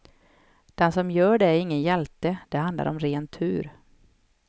Den som gör det är ingen hjälte, det handlar om ren tur.